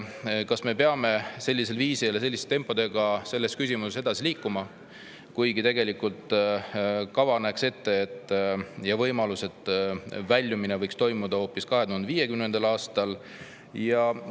Kas me peame sellisel viisil ja sellise tempoga selles küsimuses edasi liikuma, kuigi tegelikult kava näeb ette võimaluse, et väljumine võiks toimuda hoopis 2050. aastal?